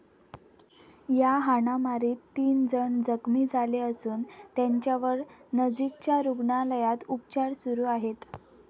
या हाणामारीत तीन जण जखमी झाले असून त्यांच्यावर नजीकच्या रुग्णालयात उपचार सुरू आहेत.